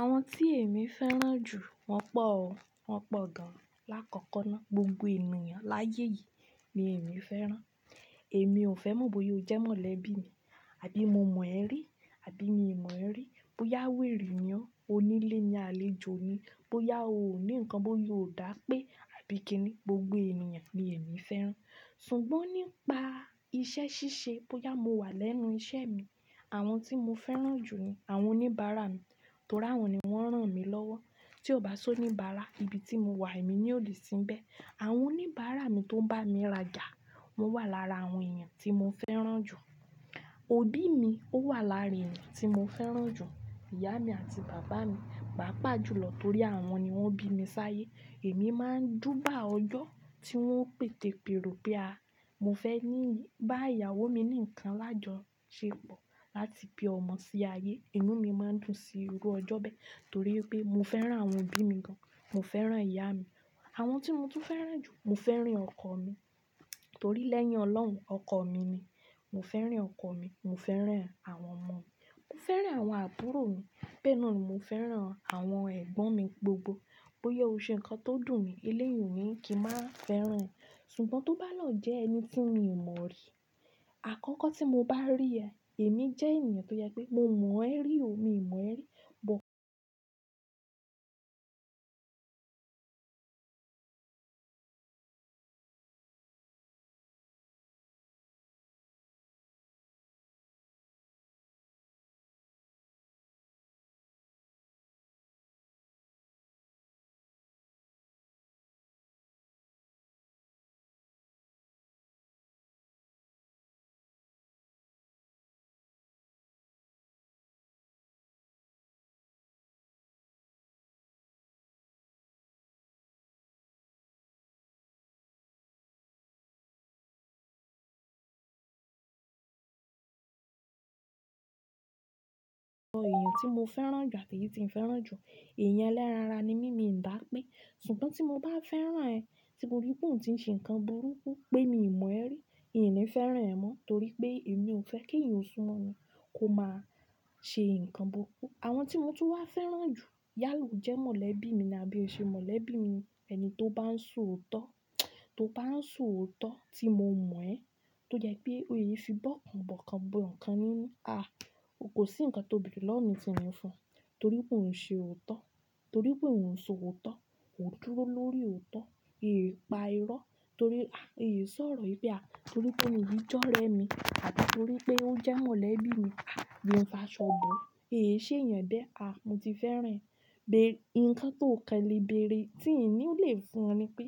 Àwọn tí èmi fẹ́ràn jù, wọ́n pọ̀ o, wọ́n pọ̀ gan-an. Láàkọ́kọ́ ná, gbogbo ènìyàn láyé yìí ni èmi fẹ́ràn. Èmi ò fẹ́ mọ̀ bóyá o jẹ́ mọ̀lẹ́bí mi, àbí mo mọ̀ ẹ rí, àbí mii mọ̀ ẹ rí, bóyá wèrè ni ọ́, onílè ni àlejò ni, bóyá o ní nǹkan, bóyá o dà pé àbí kíni, gbogbo ènìyàn ni èmi fẹ́ràn. Ṣùgbọ́n nípa iṣẹ́ ṣíṣe, bóyá mo wà lẹ́nu iṣẹ́ mi, àwọn tí mo fẹ́ràn jù ni àwọn oníbàárà mi, torí àwọn ni wọ́n rán mi lọ́wọ́. Tí ó bá sọ'níbààrà, ibi tí mo wà èmi naa ó ni sínbẹ́. Àwọn oníbàárà mi tó ń bá mi rajà wọ́n wà lára àwọn ènìyàn tí mo fẹ́ràn jù. Òbí mi ó wà lára eeyàn tí mo fẹ́ràn jù. Ìyá mi àti bàbá mi, paapaa jùlọ torí àwọn ni wọ́n bí mi sáyé. Èmi máa ń júbà ọjọ́ tí wọ́n o pètepèrò pé a-- mo fẹ́ ní bá ìyàwó mi ní nǹkan lájọ ṣe pọ̀ láti bí ọmọ sí ayé. Inú mi máa ń dùn sí irú ọjọ́ bẹ́ẹ̀ torí pé mo fẹ́ràn àwọn òbí mi gan-an. Mo fẹ́ràn ìyá mi. Àwọn tí mo tún fẹ́ràn jù, mo fẹ́ràn ọkọ mi torí lẹ́yìn Ọlọ́run, ọkọ mi ni. Mo fẹ́ràn ọkọ mi, mo fẹ́ràn àwọn ọmọ mi. Mo fẹ́ràn àwọn àbúrò mi. Bee na ni mo fẹ́ràn àwọn ẹ̀gbọ́n mi gbogbo. Bóyá o ṣe nǹkan tó dùn mi, eléyun o ni kí n máa fẹ́ràn ẹ. Ṣùgbọ́n tó bá lọ jẹ́ ẹni tí mi ò mọ̀ rí, àkọ́kọ́ tí mo bá rí ẹ, èmi jẹ́ ènìyàn tó je pé mo mọ̀ ẹ rí o, mi ò mọ̀ ẹ rí. Bọ̀-- ẹ̀yàn tí mo fẹ́ràn jù àti èyí tí ì ń fẹ́ràn jù, èèyàn eléran ara ni mí, mi n dá pé. Ṣùgbọ́n tí mo bá fẹ́ràn ẹ, tí mo rí pé òun ti ń ṣe nǹkan burúkú pé mii mọ̀ ẹ rí, in ni fẹ́ràn ẹ mọ́ torí pé èmi ò fẹ́ kí eeyan o sunmo mi kó máa ṣe nǹkan burúkú. Àwọn tí mo tún wá fẹ́ràn jù, yálà o jẹ́ mọ̀lẹ́bí mi ni àbí o ṣe mọ̀lẹ́bí mi ni. Ẹni tó bá ń sọ òótọ́, tó bá ń sọ òótọ́ tí mo mọ̀ ẹ́, tó jẹ́ pé oo e fi bọ́ kan, bọ́ kan, bọ́ nǹkan nínú, a! Ko sí nǹkan tó bere lọwo mí ti n ni fun torí pé òun ń ṣe òótọ́, torí pé òun ń sọ òótọ́, ó dúró lórí òótọ́, ee pa irọ́ torí, a! Ee sorọ̀ wipe a torí pé ení yii jore mi àbí torí pé ó jẹ́ mọ̀lẹ́bí mi. A! Bí mo bá ṣọ̀bọ̀, èyí ṣe èèyàn bẹ́ẹ̀ a! Mo ti fẹ́ràn ẹ. Be-- nǹkan tó kan le bèèrè tí n nílè fún ọ ni pé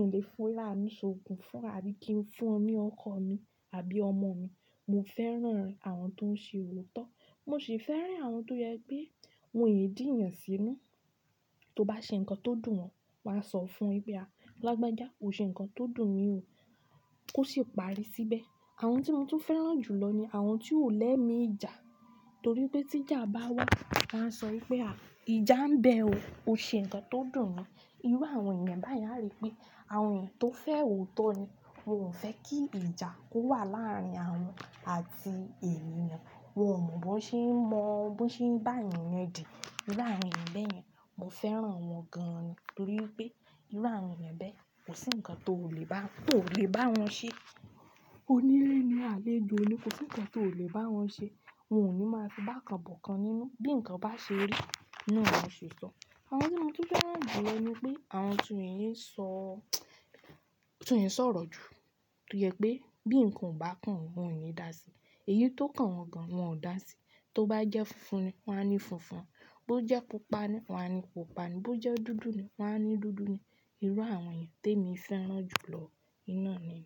n le fira mi ṣògùn fún o àbí kí n fún u ni ọmọ ọkọ mi àbí ọmọ mi. Mo fẹ́ràn àwọn tó ń ṣe òótọ́. Mo sì fẹ́ràn àwọn tó yẹ pé wọ́n ẹ́ dììyàn sínú. Tó bá ṣe nǹkan tó dùn wọn, wàá sọ fún o wipé a! Lágbájá, o ṣe nǹkan tó dùn mi o. Ó sì parí síbẹ̀. Àwọn tí mo tún fẹ́ràn jùlọ ni àwọn tí ò lẹ́mi ìjà torí pé tí ìjà bá wá, wà á sọ wípé a! Ìjà ń bẹ o, o ṣe nǹkan tó dùn ni. Irú àwọn ènìyàn báyen a rí pé àwọn ènìyàn tó fẹ́ òótọ́ ni. Wọn ò fẹ́ kí ìjà kó wà láàrin àwọn àti ènìyàn. Wọn ò mọ ban ṣe ń mọ, ban ṣe ń baayàn yodì Irú àwọn ènìyàn bẹ́ yen mo fẹ́ràn wọn gan ni torí pé irú àwọn ènìyàn bẹ́ẹ̀ kò sí nǹkan tó lè bá, tó lè bá wọn ṣe. Onílé ni alejo ni, kò sí nǹkan tó lè bá wọn ṣe. Wọn ò ní máa fi bá kan bọ̀ kan nínú. Bí nǹkan bá ṣe rí, naa ni wọn se ṣọ. Àwọn tí mo tún fẹ́ràn jù lọ ni pé àwọn tí wọ́n ẹe sọ, tí wọ́n ẹ sọ̀rọ̀ jù tó jẹ pé bí nǹkan ò bá kàn wọ́n, won e dà sí i. Èyí tó kàn wọn gan wọ́n ò dà sí i. Tó bá jẹ́ funfun ni wọ́n á ní funfun. Bo jẹ́ pupa ni wọ́n á ní pupa ni. Bí ó jẹ́ dúdú ni wọ́n á ní dúdú ni. Irú àwọn ènìyàn tèmi fẹ́ràn jùlọ iná ni.